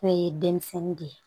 N'o ye denmisɛnnin de ye